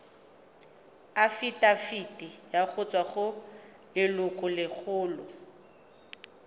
afitafiti go tswa go lelokolegolo